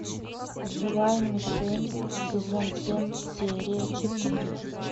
живая мишень сезон семь серия четыре